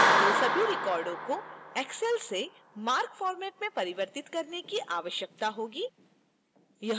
तो सभी records को excel से marc format में परिवर्तित करने की आवश्यकता होगी